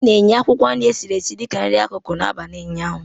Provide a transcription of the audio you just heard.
A na-enye akwụkwọ nri esiri esi dị ka nri akụkụ n'abalị ụnyaahụ